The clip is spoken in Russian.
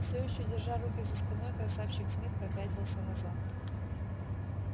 всё ещё держа руки за спиной красавчик смит попятился назад